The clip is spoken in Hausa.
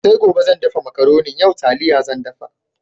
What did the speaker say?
Sai gobe zan dafa Makaronin, yau taliya zan dafa.